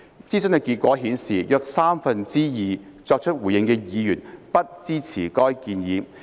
諮詢結果顯示，約三分之二作出回應的議員不支持該建議。